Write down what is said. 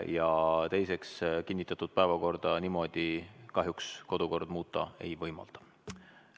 Ja teiseks, kinnitatud päevakorda niimoodi muuta kahjuks kodukord ei võimalda.